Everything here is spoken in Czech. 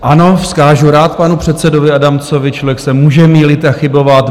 Ano, vzkážu rád panu předsedovi Adamcovi, člověk se může mýlit a chybovat.